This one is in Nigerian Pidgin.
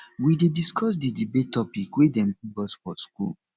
we dey discuss di debate topic wey dem give us for skool